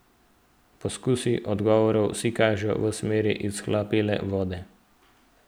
Poskusi odgovorov vsi kažejo v smeri izhlapele vode.